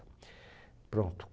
Pronto